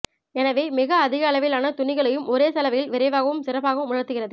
எனவே மிக அதிகளவிலான துணிகளையும் ஒரே சலவையில் விரைவாகவும் சிறப்பாகவும் உலர்த்துகிறது